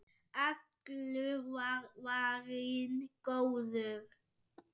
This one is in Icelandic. Allur var varinn góður.